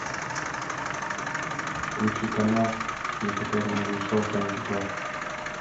включи канал на котором идет шоу камеди клаб